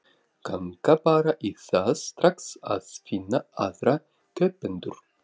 Ganga bara í það strax að finna aðra kaupendur.